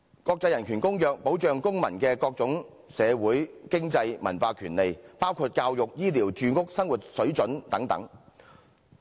國際人權公約保障公民的各種社會、經濟、文化權利，包括教育、醫療、住屋、生活水準等。